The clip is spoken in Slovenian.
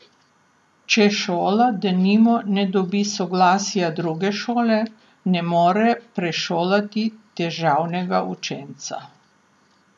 Če šola, denimo, ne dobi soglasja druge šole, ne more prešolati težavnega učenca.